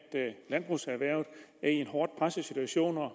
landbrugserhvervet er i en hårdt presset situation og